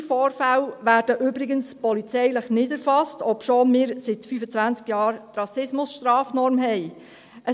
Auch rassistische Vorfälle werden übrigens polizeilich nicht erfasst, obwohl wir seit 25 Jahren die Rassismusstrafnorm haben.